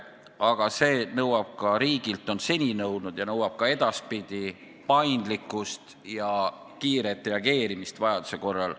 Aga see nõuab ka riigilt, on seni nõudnud ja nõuab ka edaspidi paindlikkust ja kiiret reageerimist vajaduse korral.